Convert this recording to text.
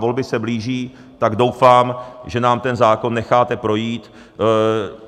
Volby se blíží, tak doufám, že nám ten zákon necháte projít.